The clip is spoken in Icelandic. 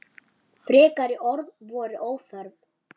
Frekari orð voru óþörf.